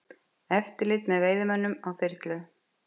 Eftirlit með veiðimönnum á þyrlu